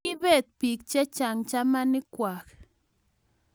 kiibet biik che chang' chamanwek kwak